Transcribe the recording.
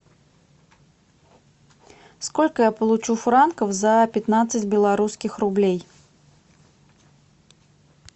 сколько я получу франков за пятнадцать белорусских рублей